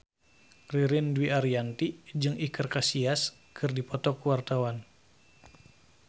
Ririn Dwi Ariyanti jeung Iker Casillas keur dipoto ku wartawan